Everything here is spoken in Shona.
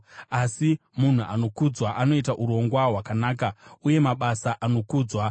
Asi munhu anokudzwa anoita urongwa hwakanaka, uye namabasa anokudzwa.